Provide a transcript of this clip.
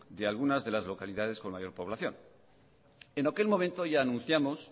de algunas de las localidades con mayor población en aquel momento ya anunciamos